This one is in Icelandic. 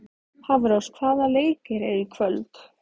Hafrós, hvaða leikir eru í kvöld?